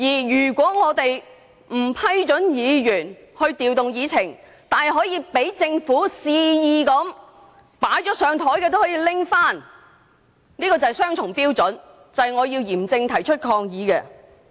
如果不批准議員調動議程，但容許政府肆意調動即將處理的項目，這是雙重標準，我要嚴正提出抗議。